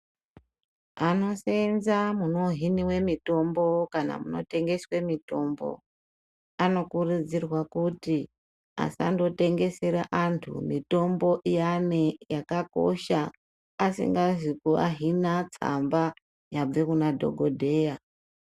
Vanoseenza kunohiniwe mithombo kana kunotengeswe mithombo anokurudzirwa kuti asandotengesera anthu mithombo iyani yakakosha asingazi kuahina tsamba yabve kuna dhokodheya.